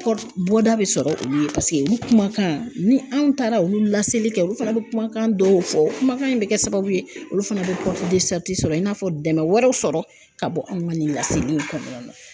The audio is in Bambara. bɔda bɛ sɔrɔ olu ye paseke olu kumakan, ni anw taara olu laseli kɛ olu fana bɛ kumakan dɔw fɔ kumakan in bɛ kɛ sababu ye olu fana bɛ sɔrɔ i n'a fɔ dɛmɛ wɛrɛw sɔrɔ ka bɔ anw ka nin laseliw kɔnɔnana.